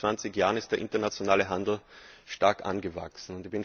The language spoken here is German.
In den letzten 20 Jahren ist der internationale Handel stark angewachsen.